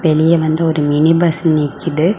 வெளிய வந்து ஒரு மினி பஸ் நிக்குது.